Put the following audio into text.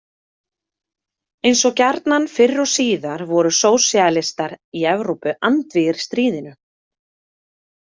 Eins og gjarnan fyrr og síðar voru sósíalistar í Evrópu andvígir stríðinu.